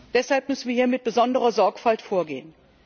Deshalb müssen wir hier mit besonderer Sorgfalt vorgehen.